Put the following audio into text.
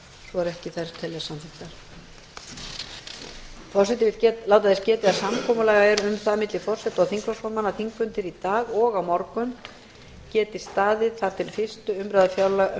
forseti vill láta þess getið að samkomulag er um það milli forseta og þingflokksformanna að þingfundir í dag og á morgun geti staðið þar til fyrstu umræðu um